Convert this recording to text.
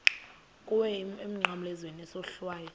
kuwe emnqamlezweni isohlwayo